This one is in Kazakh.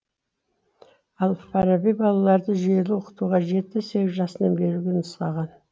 әл фараби балаларды жүйелі оқытуға жеті сегіз жасынан беруге нұсқаған